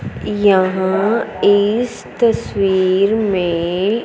यहां इस तस्वीर में--